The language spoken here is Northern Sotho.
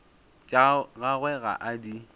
tša gagwe ga a di